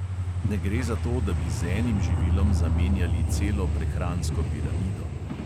Ne gre za to, da bi z enim živilom zamenjali celo prehransko piramido.